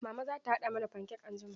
Mama za ta haɗa mana fankek anjima.